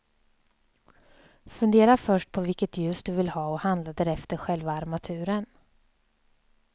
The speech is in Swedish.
Fundera först på vilket ljus du vill ha och handla därefter själva armaturen.